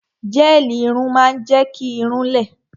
Gẹ́ẹ̀lì irun máa ń jẹ́ kí irun-ún lẹ